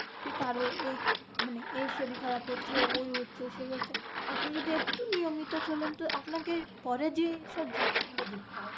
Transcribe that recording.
কি কারো এই মানে, এই শরীর খারপ হচ্ছে ঐ হচ্ছে সেই হচ্ছে। আপনি যদি একটু নিয়মিত চলেন তো আপনাকে পরে যেসব জিনিস গুলো দেখতে হবে।